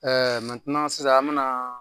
sisan an me na